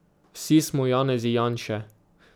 Vsi smo Janezi Janše.